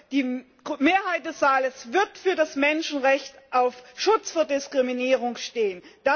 Die Mehrheit des Saales wird für das Menschenrecht auf Schutz vor Diskriminierung stimmen.